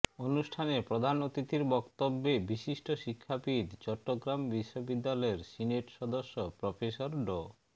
অনুষ্ঠানে প্রধান অতিথির বক্তব্যে বিশিষ্ট শিক্ষাবিদ চট্টগ্রাম বিশ্ববিদ্যালয়ের সিনেট সদস্য প্রফেসর ড